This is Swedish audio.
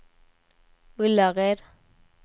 Ullared